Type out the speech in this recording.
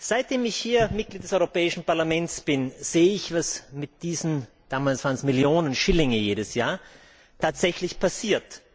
Seitdem ich Mitglied des Europäischen Parlaments bin, sehe ich, was mit diesen damals waren es Millionen Schillinge jedes Jahr tatsächlich passiert.